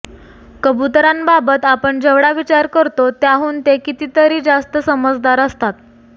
कबुतरांबाबत आपण जेवढा विचार करतो त्याहून ते कितीतरी जास्त समजदार असतात